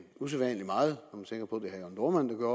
usædvanlig meget når man tænker